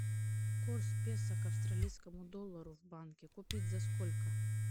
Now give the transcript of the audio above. курс песо к австралийскому доллару в банке купить за сколько